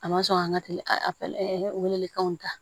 A ma sɔn ka weleli kɛw ta